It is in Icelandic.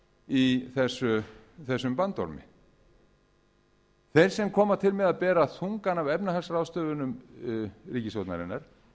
í þessum bandormi þeir sem koma til með að bera þungann af efnahagsráðstöfunum ríkisstjórnarinnar